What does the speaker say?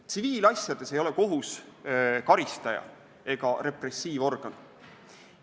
Tsiviilasjades ei ole kohus karistaja ega repressiivorgan.